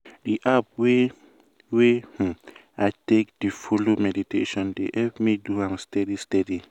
di app wey wey um i take dey follow meditation dey help me do am steady steady.